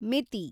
ಮಿತಿ